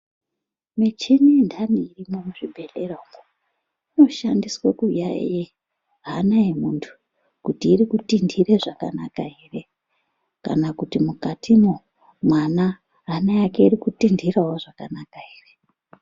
Michini ntani irimwo muzvibhedhlera umwo, inoshandiswe kuyaiye hana yemuntu kuti iri kutintire zvakanaka ere kana kuti mukatimwo mwana hana yake iri kutintirawo zvakanaka ere.